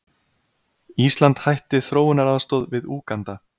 Ísland hætti þróunaraðstoð við Úganda